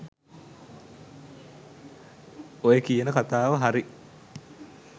ඔය කියන කතාව හරි.